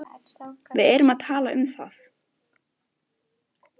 Við erum að tala um það!